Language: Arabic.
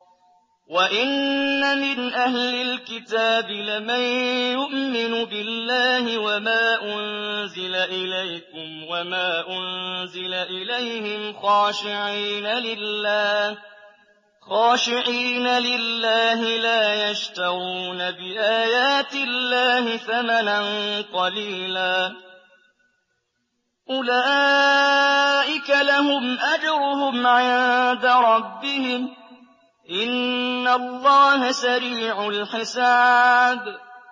وَإِنَّ مِنْ أَهْلِ الْكِتَابِ لَمَن يُؤْمِنُ بِاللَّهِ وَمَا أُنزِلَ إِلَيْكُمْ وَمَا أُنزِلَ إِلَيْهِمْ خَاشِعِينَ لِلَّهِ لَا يَشْتَرُونَ بِآيَاتِ اللَّهِ ثَمَنًا قَلِيلًا ۗ أُولَٰئِكَ لَهُمْ أَجْرُهُمْ عِندَ رَبِّهِمْ ۗ إِنَّ اللَّهَ سَرِيعُ الْحِسَابِ